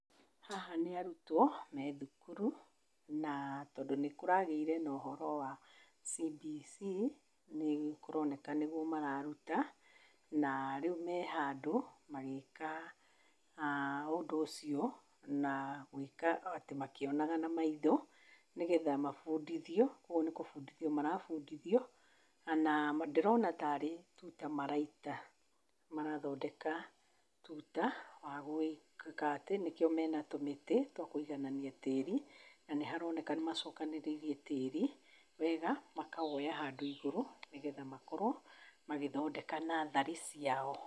Haha nĩ arutwo me thukuru, na tondũ nĩ kũragĩire na ũhoro wa CBC, nĩ kũroneka nĩguo mararuta. Na rĩu me handũ magĩĩka ũndũ ũcio na gwĩka atĩ makĩonaga na maitho, nĩgetha mabundithio, kwoguo nĩ kũbundithio marabundithio. Kana, ndĩrona taarĩ tuuta maraita. Marathondeka tuuta wa gwĩka atĩ, nĩkĩo mena tũmĩtĩ twa kũiganania tĩĩri na nĩ haroneka nĩ macokanĩrĩirie tĩĩri wega, makawoya handũ igũrũ nĩgetha makorwo magĩthondeka nursery ciao.